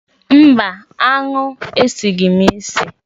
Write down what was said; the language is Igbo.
Mba, aṅụ esighị m isi.